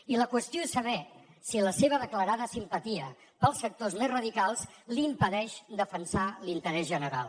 i la qüestió és saber si la seva declarada simpatia pels sectors més radicals li impedeix defensar l’interès general